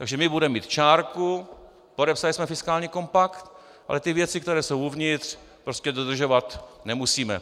Takže my budeme mít čárku, podepsali jsme fiskální kompakt, ale ty věci, které jsou uvnitř, prostě dodržovat nemusíme.